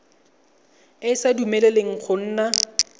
e sa dumeleleng go nna